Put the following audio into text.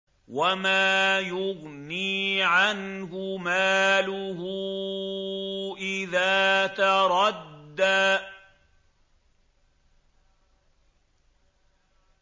وَمَا يُغْنِي عَنْهُ مَالُهُ إِذَا تَرَدَّىٰ